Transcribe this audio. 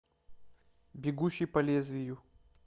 бегущий по лезвию